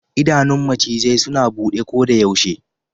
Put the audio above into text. Idanun macizai suna bude kodayaushe, ko suna bacci.